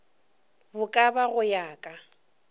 bo ka go ya ka